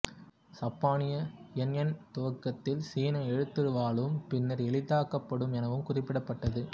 சப்பானிய யென் என் துவக்கத்தில் சீன எழுத்துரு வாலும் பின்னர் எளிதாக்கப்பட்டு எனவும் குறிப்பிடப்பட்டது